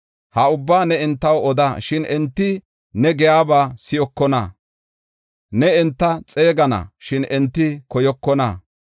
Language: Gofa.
“Ha ubbaa ne entaw oda; shin enti ne giyaba si7okona. Ne enta xeegana; shin enti koyokona.